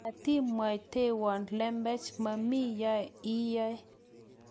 matimwaitowo lembech maami yoe iyoe